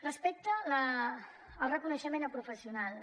respecte el reconeixement a professionals